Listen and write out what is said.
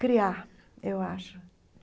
criar, eu acho.